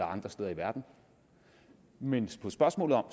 andre steder i verden men på spørgsmålet om